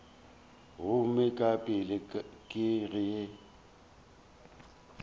gomme ka pela ke ge